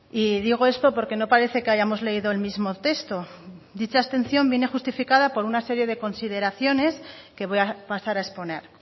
y digo esto porque no parece que hayamos leído el mismo texto dicha abstención viene justificada por una serie de consideraciones que voy a pasar a exponer